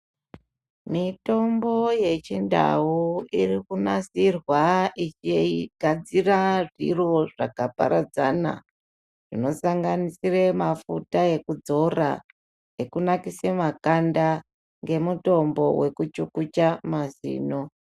Mitombo yechindau iri kunasirwa ichigadzira zviro zvakaparadzana zvinosanganisire mafuta ekudzora nekunakise makanda ngemutombo wekuchukucha mazino.